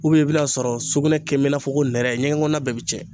i bi n'a sɔrɔ sugunɛ kɛnbɛ i n'a fɔ ko nɛrɛ ɲɛgɛn kɔɔna bɛɛ bi tiɲɛ.